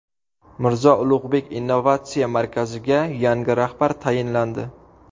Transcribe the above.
Mirzo Ulug‘bek innovatsiya markaziga yangi rahbar tayinlandi.